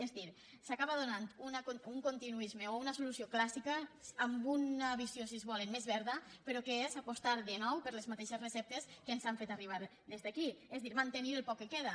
és a dir s’acaba donant un continuisme o una solució clàssica amb una visió si es vol més verda però que és apostar de nou per les mateixes receptes que ens han fet arribar aquí és a dir mantenir el poc que queda